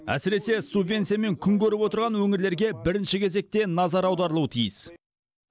әсіресе субвенциямен күн көріп отырған өңірлерге бірінші кезекте назар аударылуы тиіс